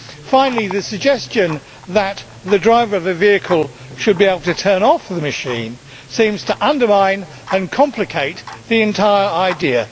Finally, the suggestion that the driver of the vehicle should be able to turn off the machine seems to undermine and complicate the entire idea.